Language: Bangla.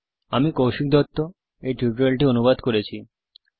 আমি কৌশিক দত্ত এই টিউটোরিয়াল টি অনুবাদ করেছি